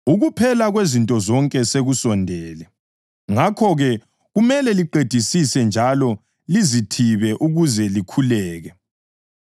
Ukuphela kwezinto zonke sekusondele. Ngakho-ke, kumele liqedisise njalo lizithibe ukuze likhuleke.